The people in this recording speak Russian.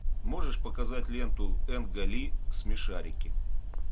можешь показать ленту энга ли смешарики